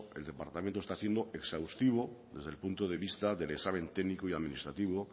el departamento está siendo exhaustivo desde el punto de vista del examen técnico y administrativo